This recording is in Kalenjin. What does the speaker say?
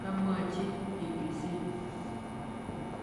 kamwachi BBC.